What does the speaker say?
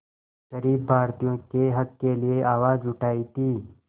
ग़रीब भारतीयों के हक़ के लिए आवाज़ उठाई थी